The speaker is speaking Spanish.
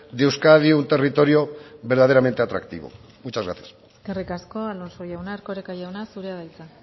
de euskadi un territorio verdaderamente atractivo muchas gracias eskerrik asko alonso jauna erkoreka jauna zurea da hitza